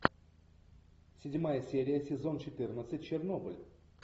седьмая серия сезон четырнадцать чернобыль